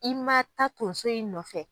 I ma taa donso in nɔfɛ